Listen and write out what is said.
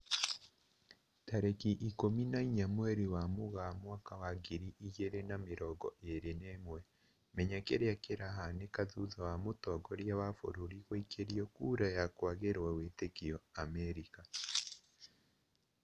Tarĩki ikũmi na inya mweri wa Mũgaa mwaka wa ngiri igĩri na mĩrongo ĩri na ĩmwe, Menya kĩrĩa kĩrahanĩka thutha wa mũtongoria wa bũrũri guikĩrio kura ya kwagĩrwo wĩtĩkio Amerika